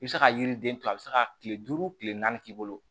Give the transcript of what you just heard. I bɛ se ka yiriden to a bɛ se ka kile duuru kile naani k'i bolo